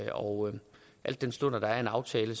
og al den stund at der er en aftale